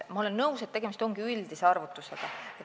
Ma olen nõus, et tegemist on üldise arvutusega.